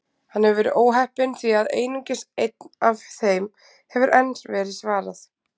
Hann hefur verið óheppinn því að einungis einni af þeim hefur enn verið svarað.